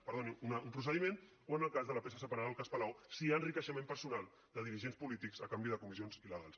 perdoni un procediment o en el cas de la peça separada del cas palau si hi ha enriquiment personal de dirigents polítics a canvi de comissions il·legals